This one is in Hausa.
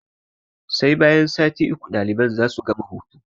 Sai bayan sati uku daliban za su gama hutu.